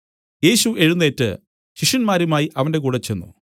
യേശു എഴുന്നേറ്റ് ശിഷ്യന്മാരുമായി അവന്റെ കൂടെ ചെന്ന്